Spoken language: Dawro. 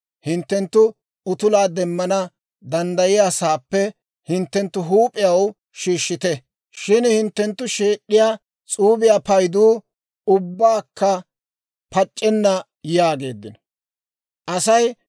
hinttenttu utulaa demmana danddayiyaasaappe hinttenttu huup'iyaw shiishshite; shin hinttenttu sheed'd'iyaa s'uubiyaa payduu ubbakka pac'c'enna› yaageedda» yaageeddino.